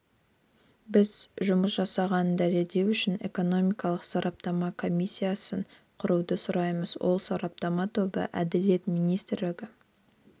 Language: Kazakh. біз жұмыс жасалғанын дәлелдеу үшін экономикалық сараптама комиссиясын құруды сұраймыз ол сараптама тобы әділет министрлігі